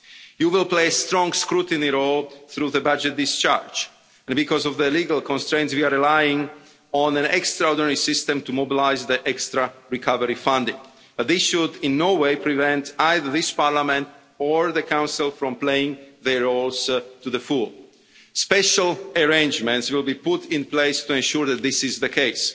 You will play a strong scrutiny role through the budget discharge and because of legal constraints we are relying on an extraordinary system to mobilise the extra recovery funding, but this should in no way prevent either this Parliament or the Council from playing their roles to the full. Special arrangements will be put in place to ensure that this is the case.